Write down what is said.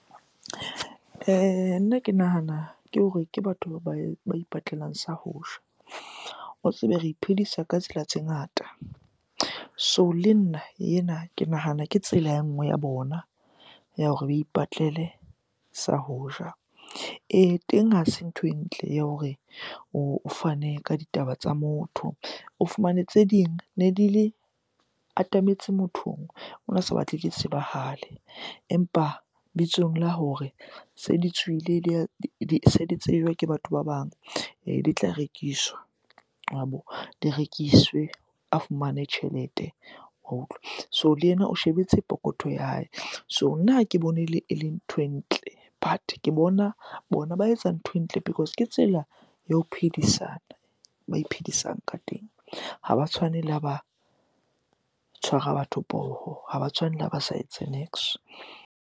Nna ke nahana ke hore ke batho ba ipatlelang sa ho ja. O tsebe re iphedisa ka tsela tse ngata, so le nna ena ke nahana ke tsela e nngwe ya bona ya hore ba ipatlele sa ho ja. Ee, teng ha se ntho e ntle ya hore o fane ka ditaba tsa motho. O fumane tse ding ne di le, atametse mothong, ona sa batle di tsebahale. Empa bitsong la hore se di tswile di se di tsejwa ke batho ba bang. Ee, di tla rekiswa wabo. Di rekiswe a fumane tjhelete wa utlwa, so le yena o shebetse pokothong ya hae. So nna ha ke bone e le nthwe ntle but ke bona, bona ba etsa ntho e ntle because Ke tsela ya ho phedisana, ba iphedisang ka teng. Ha ba tshwane le ha ba tshwara batho poho, ha ba tshwane le ha ba sa etse .